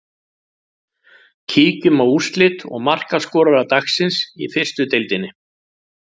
Kíkjum á úrslit og markaskorara dagsins í fyrstu deildinni.